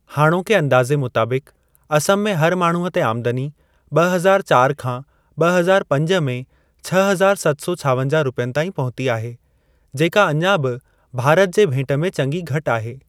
हाणोके अंदाज़े मुताबिक़, असम में हर माण्हूअ ते आमदनी ॿ हजार चारि खा ॿ हजार पंज में छह हज़ार सत सौ छावंजाह रुपयनि ताईं पोहती आहे, जेका अञां बि भारत जे भेट में चङी घटि आहे।